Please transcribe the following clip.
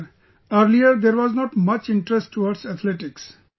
Sir, earlier there was not much interest towards Athletics